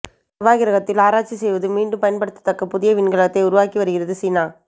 செவ்வாய் கிரகத்தில் ஆராய்ச்சி செய்து மீண்டும் பயன்படுத்தத் தக்க புதிய விண்கலத்தை உருவக்கி வருகிறது சீனா